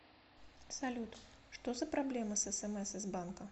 салют что за проблема с смс из банка